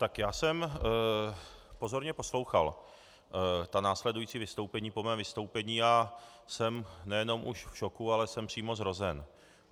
Tak já jsem pozorně poslouchal ta následující vystoupení po mém vystoupení a jsem nejenom už v šoku, ale jsem přímo zhrozen.